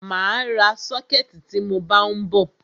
Mà á ra sọ́kẹ̀tì tí mọ bá ń bọ̀.